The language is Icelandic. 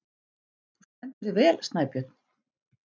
Þú stendur þig vel, Snæbjörn!